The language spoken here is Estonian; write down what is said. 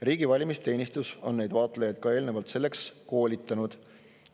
Riigi valimisteenistus on neid vaatlejaid eelnevalt selleks koolitanud.